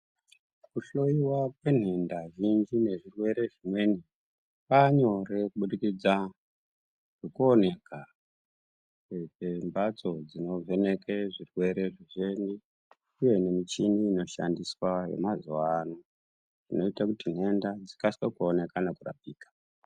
Kuhloyiwa kwenhenda zhinji nezvirwere zvimweni kwanyore kubudikidza ngekuoneka kwembatso dzinovheneke zvirwere zvicheni uye nemichini inoshandiswa nemazuwano inoita kuti nhenda dzikasike kuoneka nekurapika.